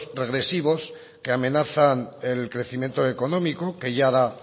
regresivos que amenazan el crecimiento económico que ya da